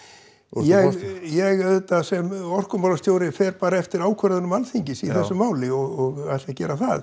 ég ég auðvitað sem orkumálastjóri fer bara eftir ákvörðunum Alþingis í þessu máli og ætla að gera það